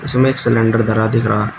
इसमें एक सिलेंडर धरा दिख रहा--